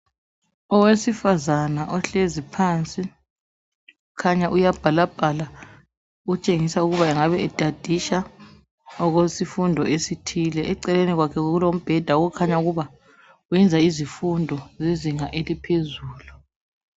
Owesifazana ihlezi phansi kukhanya uyabhalabhala okutshengisa ukuba engabe etstisha okwesifundo thile. Eceleni kwakhe kulombheda okukhanya ukuba wenza izifundo zezinga eliohezulu.